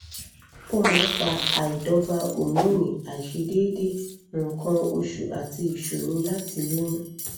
ó máa ń fa àìdọ́gba hómónì àìṣedéédé nǹkan oṣù àti ìṣòro láti lóyún